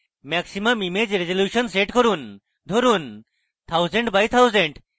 maximum image resolution সেট করুন ধরুন 1000 x 1000